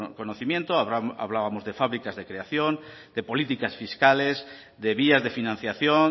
conocimiento hablábamos de fábricas de creación de políticas fiscales de vías de financiación